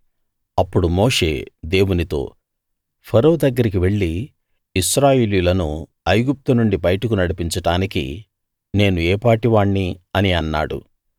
అప్పుడు మోషే దేవునితో ఫరో దగ్గరికి వెళ్ళి ఇశ్రాయేలీయులను ఐగుప్తు నుండి బయటకు నడిపించడానికి నేను ఏపాటి వాణ్ణి అని అన్నాడు